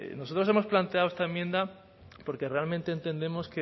nosotros hemos planteado esta enmienda porque realmente entendemos